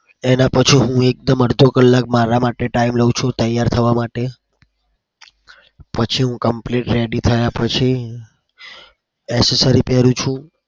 એનાં પછી હું એકદમ અડધો કલાક મારા માટે time લઉં છું તૈયાર થવા માટે. પછી હું complete ready થયા પછી accessory પહેરું છું.